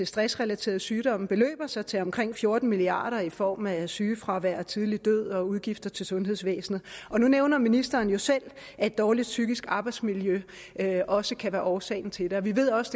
stressrelaterede sygdomme beløber sig til omkring fjorten milliard kroner i form af sygefravær og tidlig død og udgifter til sundhedsvæsenet nu nævner ministeren jo selv at et dårligt psykisk arbejdsmiljø også kan være årsagen til det og vi ved også